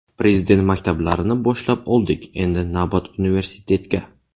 Prezident maktablarini boshlab oldik, endi navbat universitetga.